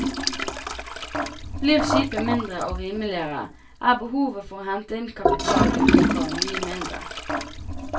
Blir skipet mindre og rimeligere, er behovet for å hente inn kapital utenfra mye mindre.